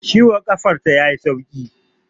Ciwon ƙafar ta ya yi sauƙi